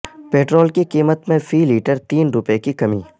petrol کی قیمت میں فی لیٹر تین روپے کی کمی